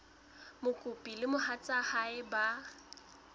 mokopi le mohatsa hae ba